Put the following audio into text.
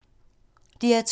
DR2